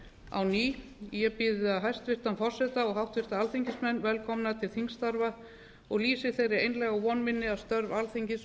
á ný ég býð hæstvirtan forseta og háttvirtir alþingismenn velkomna til þingstarfa og lýsi þeirri einlægu von minni að störf alþingis